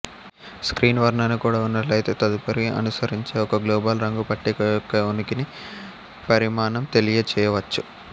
screen వర్ణన కూడా ఉన్నట్లయితే తదుపరి అనుసరించే ఒక గ్లోబల్ రంగు పట్టిక యొక్క ఉనికిని పరిమాణం తెలియచేయవచ్చు